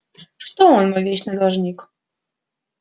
что он мой вечный должник